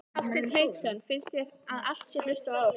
Hafsteinn Hauksson: Finnst þér að það sé hlustað á ykkur?